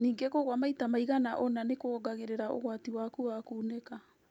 Ningĩ kũgũa maita maigana ona nĩkuongagĩrĩra ũgwati waku wa kunĩka